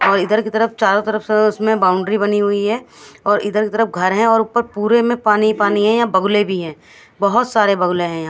और इधर की तरफ चारो तरफ उसमें बाउंड्री बनी हुई है और इधर उधर घर है और ऊपर पुरे में पानी ही पानी है यहाँ बगुले भी है बहोत सारे बगुले है यहा--